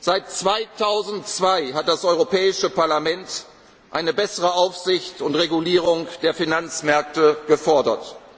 erfolgt. Seit 2002 hat das Europäische Parlament eine bessere Aufsicht und Regulierung der Finanzmärkte gefordert.